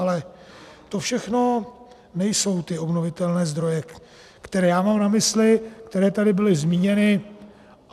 Ale to všechno nejsou ty obnovitelné zdroje, která já mám na mysli, které tady byly zmíněny.